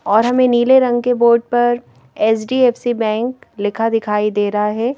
और हमें नीले रंग के बोर्ड पर एच_डी_एफ_सी बैंक लिखा दिखाई दे रहा है।